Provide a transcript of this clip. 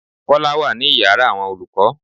Kọ́lá wá ní ìyára àwọn olùkọ́.